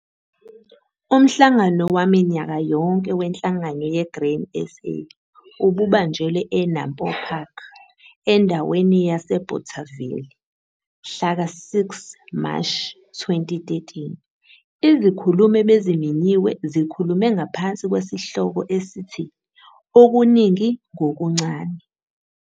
Umhlangano waminyaka yonke weNhlangano yeGrain SA ububanjelwe eNampo Park endaweni yaseBothaville, mhlaka-6 Mashi 2013. Izikhulumi ebezimenyiwe zikhulume ngaphansi kwesihloko esithi "Okuningi ngokuncane".